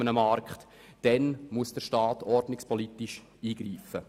Dann muss der Staat ordnungspolitisch eingreifen.